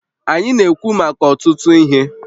Anyị na-ekwu maka ọtụtụ ihe